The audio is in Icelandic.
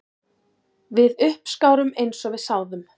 Við uppskárum eins og við sáðum